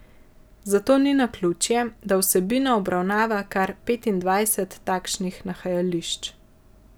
Zato ni naključje, da vsebina obravnava kar petindvajset takšnih nahajališč.